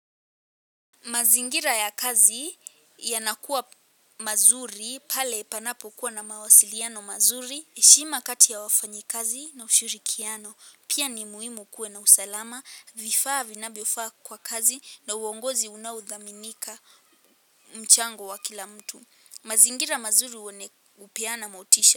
Mazingira ya kazi yanakuwa mazuri pale panapokuwa na mawasiliano mazuri, heshima kati ya wafanyikazi na ushirikiano. Pia ni muhimu kuwe na usalama. Vifaa vinavyofaa kwa kazi na uongozi unaodhaminika mchango wa kila mtu. Mazingira mazuri hupeana motisha.